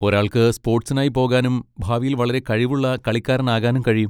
ഒരാൾക്ക് സ്പോർട്സിനായി പോകാനും ഭാവിയിൽ വളരെ കഴിവുള്ള കളിക്കാരനാകാനും കഴിയും.